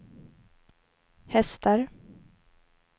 hästar